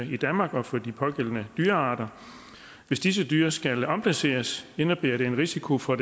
i danmark og for de pågældende dyrearter hvis disse dyr skal omplaceres indebærer det en risiko for